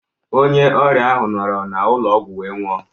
Onye ọrịa ahụ nọrọ n'ụlọ ọgwụ wee nwụọ.